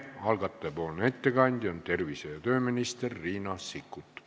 Algataja ettekandja on tervise- ja tööminister Riina Sikkut.